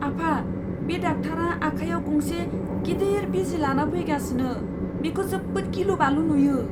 आफा, बे डाक्टारा आखाइयाव गंसे गिदिर बिजि लाना फैगासिनो। बेखौ जोबोद गिलु बालु नुयो!